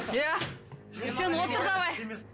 иә сен отыр давай